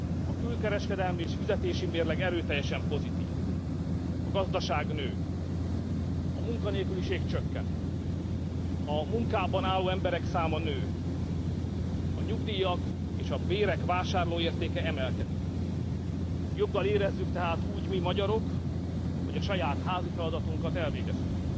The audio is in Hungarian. A külkereskedelmi és fizetési mérleg erőteljesen pozitív, a gazdaság nő, a munkanélküliség csökken, a munkában álló emberek száma nő, a nyugdíjak és a bérek vásárlóértéke emelkedik, joggal érezzük tehát úgy mi, magyarok, hogy a saját házi feladatunkat elvégeztük.